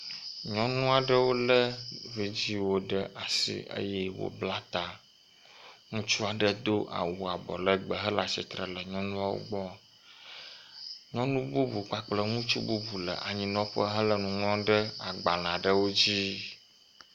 Nyɔnu aɖewo le vidziwo ɖe asi eye wobla ta. Ŋutsu aɖe do awu abɔlegbe hele atsitre ɖe nyɔnuawo gbɔ. Nyɔnu bubu kplakple ŋutsu bubu le anyinɔƒe hele nu ŋlɔm ɖe agbale aɖewo dzi.